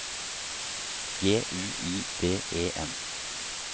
G U I D E N